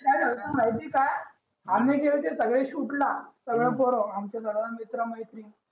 काय जालत माहिते ए का आम्ही गेलंते सगळे shoot ला सगळे पोरं आमचे सर्व मित्र मैत्रिण